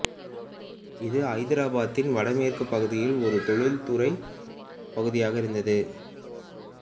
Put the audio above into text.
இது ஐதராபாத்தின் வடமேற்கு பகுதியில் ஒரு தொழில்துறை பகுதியாக இருந்தது